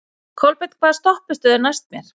Kolbeinn, hvaða stoppistöð er næst mér?